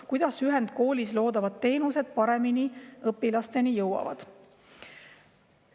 Kuidas ühendkoolis loodavad teenused paremini õpilasteni jõuavad?